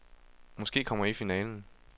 Måske kommer jeg i finalen.